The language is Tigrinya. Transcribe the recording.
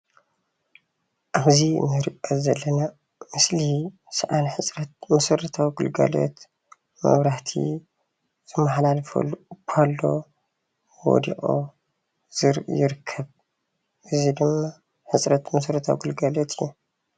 ሕዚ እንርከብ ዘለና ምስሊ ሰኣን ሕፅረት መሠረታዊ ግልጋሎት መብራህቲ ዝመሓላለፈሉ ፓሎ ወዲቁ ይርከብ። እዚ ድማ መሰረታዊ ግልጋሎት እዩ።